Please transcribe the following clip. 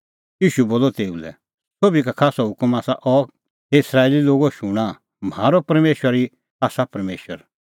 ईशू बोलअ तेऊ लै सोभी का खास हुकम आसा अह हे इस्राएली लोगो शूणां म्हारअ परमेशर ई आसा परमेशर